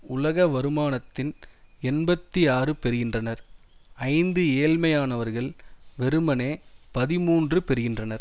உலக வருமானத்தின் எண்பத்தி ஆறு பெறுகின்றனர் ஐந்து ஏழ்மையானவர்கள் வெறுமனே பதிமூன்று பெறுகின்றனர்